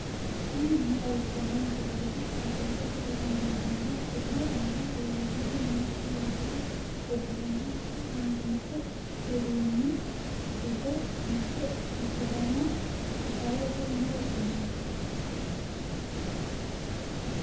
tini maa xawissanno misileeti? qooxeessisera may leellanno? tenne aana leellannori maati yitine heddinanni? tini muuziiqu uduunni giddo mitte ikkitanna gitaarete yine woshshinanni.